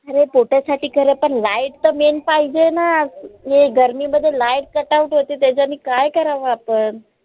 अरे पोटासाठी खर पण light त main पाहिजे ना हे गर्मी मध्ये light cut out त्याच्यांनी काय करावं आपण?